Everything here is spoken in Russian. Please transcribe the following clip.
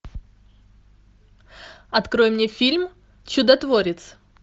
открой мне фильм чудотворец